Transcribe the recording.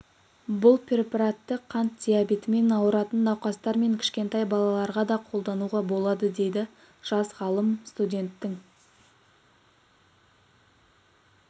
бұл препаратты қант диабетімен ауыратын науқастар мен кішкентай балаларға да қолдануға болады дейді жас ғалым студенттің